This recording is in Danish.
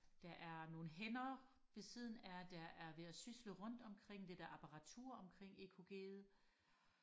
der er nogle hænder ved siden af der er ved og sysle rundt omkring det der apparatur omkring EKGet